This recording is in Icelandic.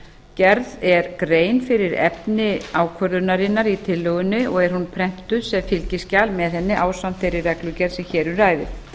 gerð er grein fyrir efni ákvörðunarinnar í tillögunni og er án prentuð sem fylgiskjal með henni ásamt þeirri reglugerð sem hér um ræðir